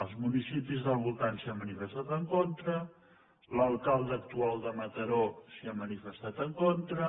els municipis del voltant s’hi han manifestat en contra l’alcalde actual de mataró s’hi ha manifestat en contra